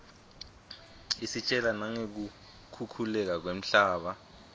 isitjela nangeku khukhuleka kwemhlaba